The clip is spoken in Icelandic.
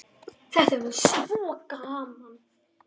Þetta verður svo gaman.